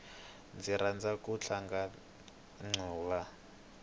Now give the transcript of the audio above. ndzi rhandza ku tlanga ncuva